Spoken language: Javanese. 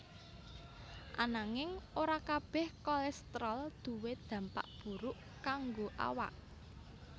Ananging ora kabéh kolestrol duwé dampak buruk kanggo awak